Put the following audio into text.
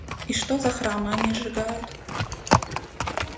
и что за храмы они сжигают